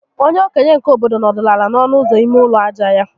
Onye okenye nke obodo nọdụrụ ala n'ọnụ ụzọ ime ụlọ aja ya